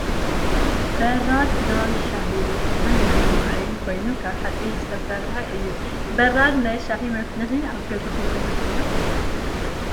በራድ ናይ ሻሂ መፍሊሒን ማይ መውዓይን ኮይኑ ካብ ሓፂን ዝተሰረሓ እዩ። በራድ ናይ ሻሂ መፍሊሒ ኣብ ገዛኩም ኣለኩም ዶ ?